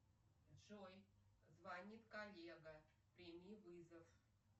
джой звонит коллега прими вызов